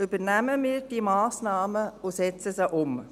Übernehmen wir diese Massnahmen und setzen sie um.